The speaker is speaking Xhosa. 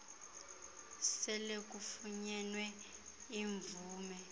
sele kufunyenwe imvume